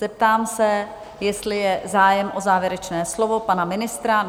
Zeptám se, jestli je zájem o závěrečné slovo pana ministra?